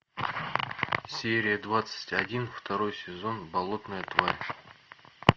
серия двадцать один второй сезон болотная тварь